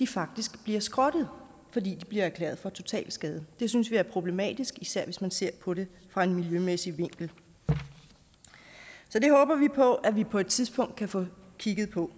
faktisk bliver skrottet fordi de bliver erklæret for totalskadet det synes vi er problematisk især hvis man ser på det fra en miljømæssig vinkel så det håber vi på at vi på et tidspunkt kan få kigget på